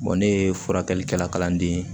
ne ye furakɛlikɛla kalan den